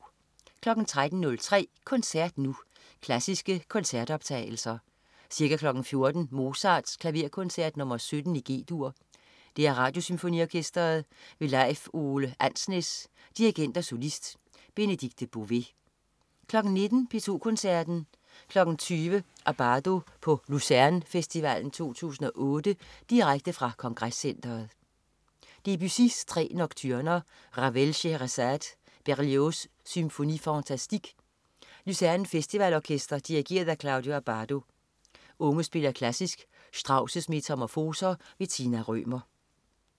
13.03 Koncert Nu. Klassiske Koncertoptagelser. Ca. 14.00 Mozart: Klaverkoncert nr. 17, G-dur. DR Radiosymfoniorkestret. Leif Ove Andsnes, dirigent og solist. Benedikte Bové 19.00 P2 Koncerten. 20.00 Abbado på Lucerne Festivalen 2008. Direkte fra Kongrescentret. Debussy: Tre Nocturner. Ravel: Shéhérazade. Berlioz: Symphoniie fantastique. Lucerne Festival Orkester. Dirigent: Claudio Abbado. Unge spiller Klassisk. Strauss' Metamorfoser. Tina Rømer